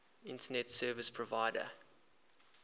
internet service provider